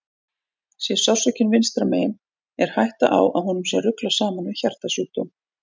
Sé sársaukinn vinstra megin er hætta á að honum sé ruglað saman við hjartasjúkdóm.